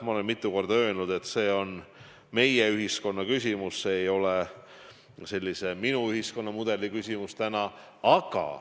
Ma olen mitu korda öelnud, et see on meie-ühiskonna küsimus, see ei ole sellise minu-ühiskonnamudeli küsimus.